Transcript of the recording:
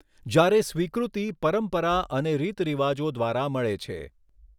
જ્યારે સ્વીકૃતિ પરંપરા અને રીતરિવાજો દ્વારા મળે છે.